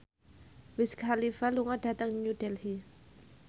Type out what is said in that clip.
Wiz Khalifa lunga dhateng New Delhi